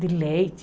de leite.